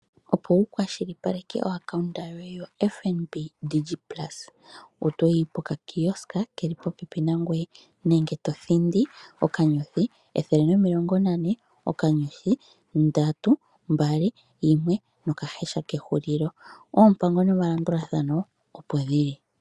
Opo wu kwashilipaleke omayalulo goye gombaanga yoFNB Digit Plus, oto yi pehala mpoka pu na eshina lyoFNB li li popepi nangoye nenge to thindi *140*321#. Oompango nomalandulathano opo dhi li.